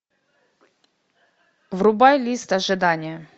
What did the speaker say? врубай лист ожидания